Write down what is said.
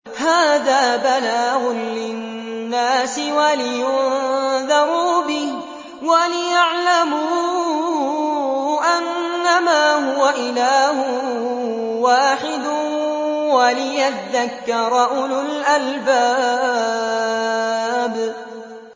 هَٰذَا بَلَاغٌ لِّلنَّاسِ وَلِيُنذَرُوا بِهِ وَلِيَعْلَمُوا أَنَّمَا هُوَ إِلَٰهٌ وَاحِدٌ وَلِيَذَّكَّرَ أُولُو الْأَلْبَابِ